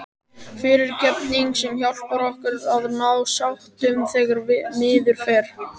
FYRIRGEFNING- sem hjálpar okkur að ná sáttum þegar miður fer.